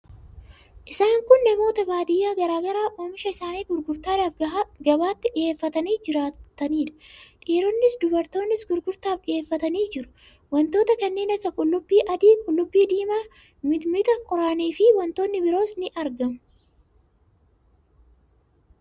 Isaan kun namoota baadiyyaa garaa garaa oomisha isaanii gurgurtaadhaaf gabaatti dhiheeffatanii jiraniidha. Dhiironnis dubartoonnis gurgurtaaf dhiheeffatanii jiru. Wantoota kanneen akka qullubbii adii, qullubbii diimaa, mixmixa, qoraanii fi wantootni biroos ni argamu